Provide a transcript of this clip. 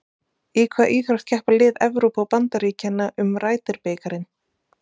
Í hvaða íþrótt keppa lið Evrópu og Bandaríkjanna um Ryder bikarinn?